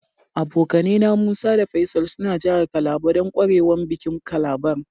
Abokane na, Musa da Faisal suna jihar Calabar dan kwarewan bikin calabar.